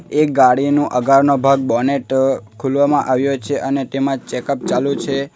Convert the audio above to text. એક ગાડીનો આગળનો ભાગ બોનેટ ખોલવામાં આવ્યો છે અને તેમાં ચેક અપ ચાલુ છે.